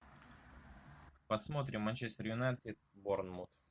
посмотрим манчестер юнайтед и борнмут